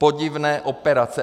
Podivné operace.